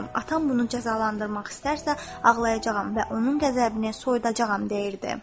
Atam bunu cəzalandırmaq istərsə ağlayacağam və onun qəzəbini soyudacağam deyirdi.